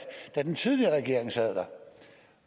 da den tidligere regering sad der